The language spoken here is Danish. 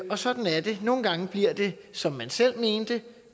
og sådan er det nogle gange bliver det som man selv mente